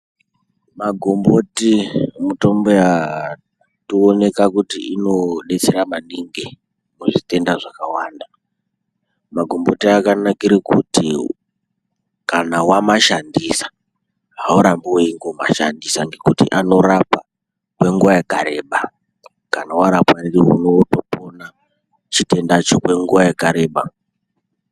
Magomboti mitombo yatooneka kuti inodetsera maningi kuzvitenda zvakawanda. Magomboti akanakire kuti kana wamashandisa haurambi weingomashandisa ngekuti anorapa kwenguwa yakareba , kana warapwa ndiwo unotopona chitendacho kwenguwa yakareba.